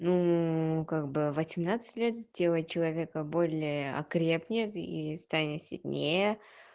ну как бы в восемнадцать лет сделать человека более окрепнет и станет сильнее